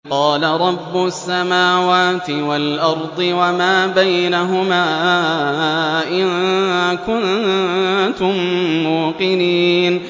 قَالَ رَبُّ السَّمَاوَاتِ وَالْأَرْضِ وَمَا بَيْنَهُمَا ۖ إِن كُنتُم مُّوقِنِينَ